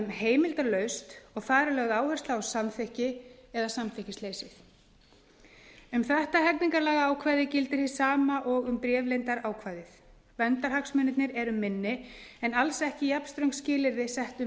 heimildarlaust og þar er lögð áhersla á samþykki eða samþykkisleysi um þetta hegningarlagaákvæði gildir hið sama og um bréfleyndarákvæðið verndarhagsmunirnir eru minni en alls ekki jafnströng skilyrði sett um